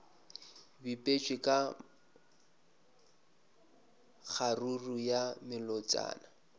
bipetšwe ka kgaruru ya melotšana